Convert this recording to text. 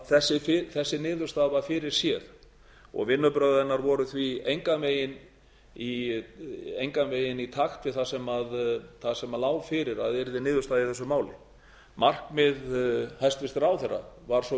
þessi niðurstaða var fyrir séð og vinnubrögð hennar voru því engan veginn í takt við það sem lá fyrir að yrði niðurstaða í þessu máli markmið hæstvirtur ráðherra var svo